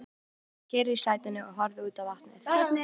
Margrét sat kyrr í sætinu og horfði út á vatnið.